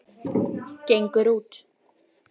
Gengur út.